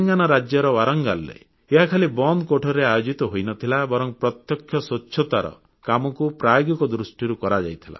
ତେଲଙ୍ଗାନା ରାଜ୍ୟର ୱାରାଙ୍ଗଲ୍ ରେ ଏହା ଖାଲି ବନ୍ଦ କୋଠରୀରେ ଆୟୋଜିତ ହୋଇନଥିଲା ବରଂ ପ୍ରତ୍ୟକ୍ଷ ସ୍ୱଚ୍ଛତାର କାମକୁ ପ୍ରାୟୋଗିକ ଦୃଷ୍ଟିରୁ କରାଯାଇଥିଲା